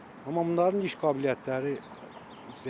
Amma bunların iş qabiliyyətləri zəifdir.